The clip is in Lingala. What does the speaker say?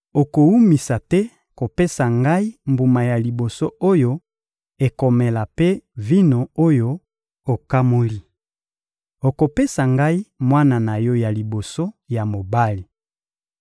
Okowumisa te kopesa Ngai mbuma ya liboso oyo ekomela mpe vino oyo okamoli. Okopesa Ngai mwana na yo ya liboso ya mobali.